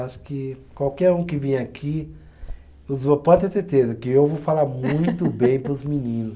Acho que qualquer um que vier aqui, pode ter certeza que eu vou falar muito bem para os meninos.